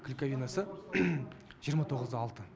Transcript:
клейковинасы жиырма тоғыз да алты